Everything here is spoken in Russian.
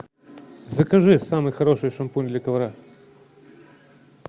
закажи самый хороший шампунь для ковра